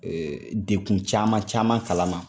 Ee dekun caman caman kalama